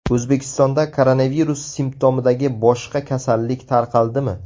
O‘zbekistonda koronavirus simptomidagi boshqa kasallik tarqaldimi?